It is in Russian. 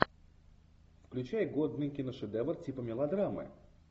включай годный киношедевр типа мелодрамы